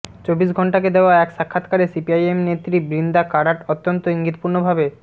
চব্বিশ ঘণ্টাকে দেওয়া এক সাক্ষাত্কারে সিপিআইএম নেত্রী বৃন্দা কারাট অত্যন্ত ইঙ্গিতপূর্ণভাবে